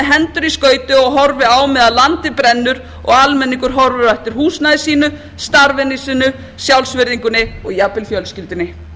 hendur í skauti og horfi á meðan landið brennur og almenningur horfir á eftir húsnæði sínu starfinu sínu sjálfsvirðingunni og jafnvel fjölskyldunni